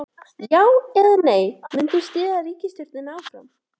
Já, eða nei, munt þú styðja ríkisstjórnina áfram?